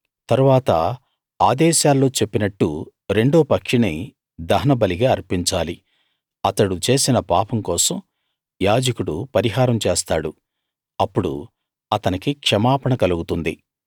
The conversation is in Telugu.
తరువాత ఆదేశాల్లో చెప్పినట్టు రెండో పక్షిని దహనబలిగా అర్పించాలి అతడు చేసిన పాపం కోసం యాజకుడు పరిహారం చేస్తాడు అప్పుడు అతనికి క్షమాపణ కలుగుతుంది